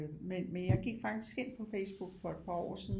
Men jeg gik faktisk ind på Facebook for et par år siden